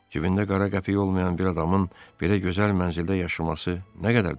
Cibində qara qəpik olmayan bir adamın belə gözəl mənzildə yaşaması nə qədər doğrudur?